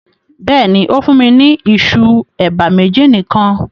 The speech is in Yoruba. Bẹ́ẹ̀ni, o fùn mi ni ìṣu eba meji nikan